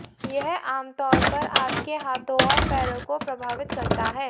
यह आमतौर पर आपके हाथों और पैरों को प्रभावित करता है